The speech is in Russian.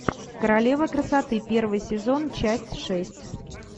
королева красоты первый сезон часть шесть